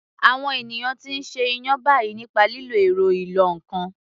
Àwọn ènìyàn ti ń ṣe iyán báyìí nípa lílo ẹ̀rọ ìlọ ǹkan